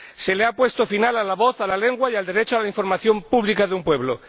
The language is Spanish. Se le ha puesto final a la voz, a la lengua y al derecho a la información pública de un pueblo.